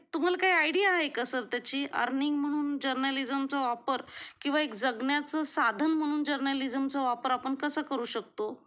तुम्हाला काही आयडिया आहे का सर त्याची अरनिंग म्हणून जर्नालिसमचा वापर किंवा एक जगण्याचं साधन म्हणून जर्नालिसमचा वापर आपण कसं करू शकतो?